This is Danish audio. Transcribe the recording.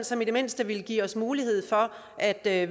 som i det mindste vil give os mulighed for at at